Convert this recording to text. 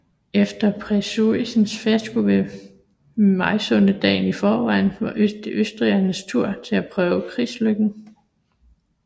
Efter preussernes fiasko ved Mysunde dagen i forvejen var det østrigernes tur til at prøve krigslykken